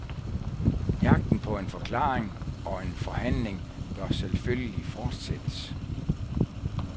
Jagten på en forklaring og en behandling bør selvfølgelig fortsættes.